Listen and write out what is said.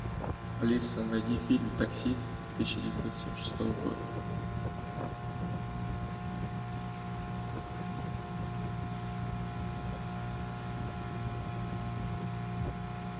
алиса найди фильм таксист тысяча девятьсот семьдесят шестого года